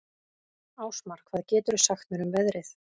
Ásmar, hvað geturðu sagt mér um veðrið?